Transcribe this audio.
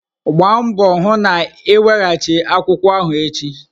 Gbaa mbọ hụ na ị weghachi akwụkwọ ahụ echi!